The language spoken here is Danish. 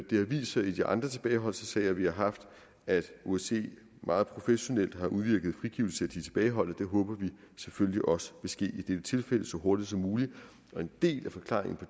det har vist sig i de andre tilbageholdelsessager vi har haft at osce meget professionelt har udvirket frigivelse af de tilbageholdte det håber vi selvfølgelig også vil ske i dette tilfælde så hurtigt som muligt en del af forklaringen på